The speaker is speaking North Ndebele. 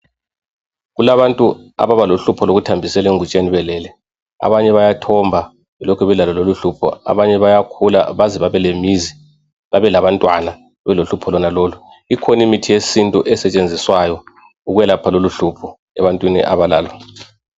Kulabantu abalohlupho loluthambisela engutsheni belele, abanye bayathomba belokhe belalo lolu hlupho. Abanye bayakhula baze babe lemizi babe labantwana belohlupho lonalolu. Ikhona imithi yesintu esetshenziswayo ukwelapha lolu hlupho ebantwini abalalo.